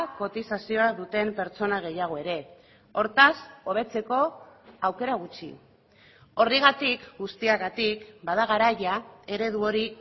kotizazioa duten pertsona gehiago ere hortaz hobetzeko aukera gutxi horregatik guztiagatik bada garaia eredu hori